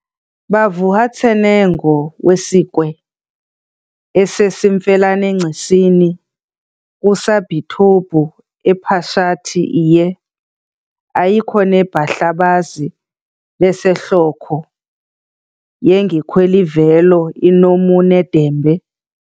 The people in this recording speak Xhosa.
bavuhatset' nengo wesikwe esesimfelanengcisini kusabhithobhu ePhashathi iYe, ayiko neMahlabazi beseHlokho yengikhwelivelo inomu nedembe